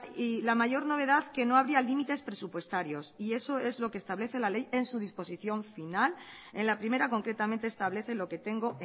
y la mayor novedad que no habría límites presupuestarios y eso es lo que establece la ley en su disposición final en la primera concretamente establece lo que tengo